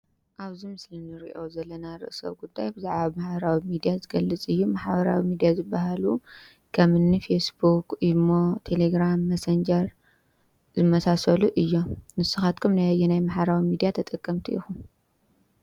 ኣብዚ ምስሉ ንሪኦ ዘለና ርእሰ ጉዳይ ብዛዕባ ማሕበራዊ ሚድያ ዝገልፅ እዩ። ማሕበራዊ ሚድያ ዝበሃሉ ከምኒ ፌስቡክ ፣ኢሞ፣ ቴለ ግራም ፣ መሰንጀር ዝመሳሰሉ እዮም። ንስካትኩም ናይ ኣየናይ ማሕበራዊ ሚድያ ተጠቀምቲ ኢኩም?